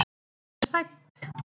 Hún er hrædd.